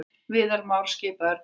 Viðar Már skipaður dómari